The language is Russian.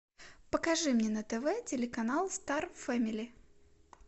покажи мне на тв телеканал стар фэмили